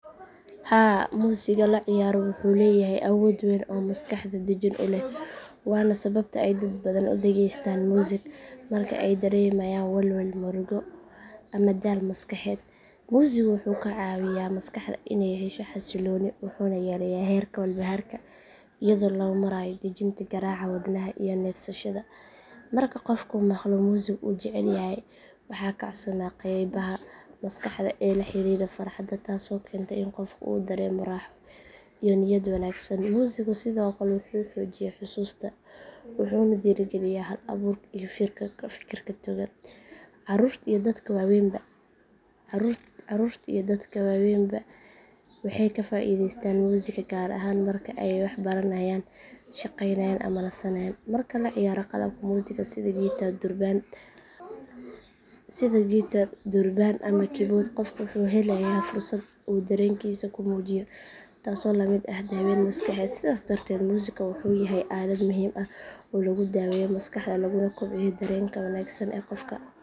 Haa muusiga la ciyaaro wuxuu leeyahay awood weyn oo maskaxda dejin u leh waana sababta ay dad badan u dhageystaan muusig marka ay dareemayaan walwal, murugo ama daal maskaxeed. Muusigu wuxuu ka caawiyaa maskaxda inay hesho xasillooni wuxuuna yareeyaa heerka walbahaarka iyadoo loo marayo dejinta garaaca wadnaha iyo neefsashada. Marka qofku maqlo muusig uu jecel yahay waxaa kacsama qeybaha maskaxda ee la xiriira farxadda taasoo keenta in qofka uu dareemo raaxo iyo niyad wanaagsan. Muusigu sidoo kale wuxuu xoojiyaa xusuusta wuxuuna dhiirrigeliyaa hal abuurka iyo fikirka togan. Carruurta iyo dadka waaweynba waxay ka faa’iidaystaan muusiga gaar ahaan marka ay wax baranayaan, shaqeynayaan ama nasanayaan. Marka la ciyaaro qalabka muusiga sida gitaar, durbaan ama kiiboodh qofku wuxuu helayaa fursad uu dareenkiisa ku muujiyo taasoo la mid ah daweyn maskaxeed. Sidaas darteed muusigu wuxuu yahay aalad muhiim ah oo lagu daweeyo maskaxda laguna kobciyo dareenka wanaagsan ee qofka.